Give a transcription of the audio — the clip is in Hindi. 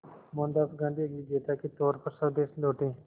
मोहनदास गांधी एक विजेता के तौर पर स्वदेश लौटे